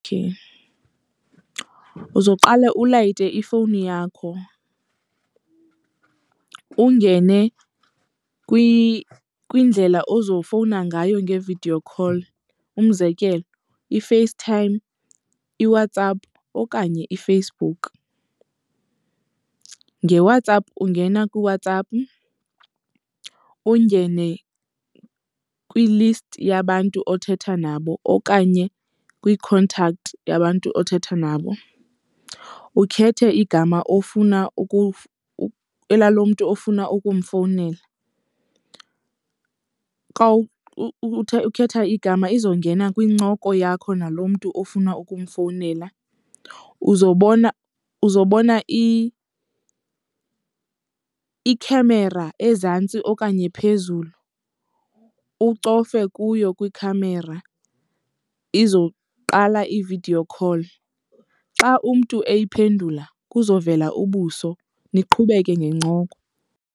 Uzoqale ulayite ifowuni yakho, ungene kwindlela ozofowuna ngayo nge-video call, umzekelo iFaceTime, iWhatsApp okanye iFacebook. NgeWhatsApp ungena kwiWhatsApp, ungene kwi-list yabantu othetha nabo okanye kwii-contact yabantu othetha nabo. Ukhethe igama ofuna elalo mntu ofuna ukumfowunela. Xa ukhetha igama izongena kwincoko yakho nalo mntu ofuna ukumfowunela. Uzobona uzobona ikhamera ezantsi okanye phezulu, ucofe kuyo kwikhamera izowuqala i-video call. Xa umntu eyiphendula kuzovela ubuso, niqhubeke ngencoko.